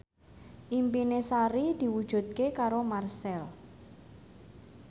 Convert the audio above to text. impine Sari diwujudke karo Marchell